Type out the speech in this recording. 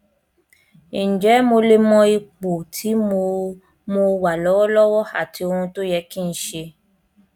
ǹjẹ mo lè mọ ipò tí mo mo wà lọwọlọwọ àti ohun tó yẹ kí n ṣe